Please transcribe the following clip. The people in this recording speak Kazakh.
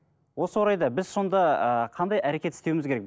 осы орайда біз сонда ыыы қандай әрекет істеуіміз керек